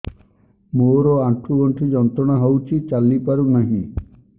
ମୋରୋ ଆଣ୍ଠୁଗଣ୍ଠି ଯନ୍ତ୍ରଣା ହଉଚି ଚାଲିପାରୁନାହିଁ